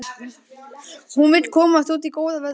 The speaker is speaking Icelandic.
Hún vill komast út í góða veðrið.